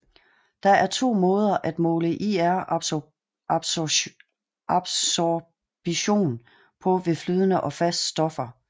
Der er to måder at måle IR absorption på ved flydende og fast stoffer